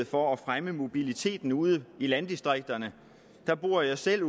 for at fremme mobiliteten ude i landdistrikterne der bor jeg selv